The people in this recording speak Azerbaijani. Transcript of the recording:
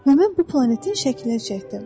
Və mən bu planetin şəklini çəkdim.